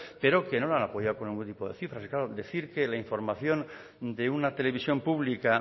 pero que no la han apoyado con ningún tipo de cifras y claro decir que la información de una televisión pública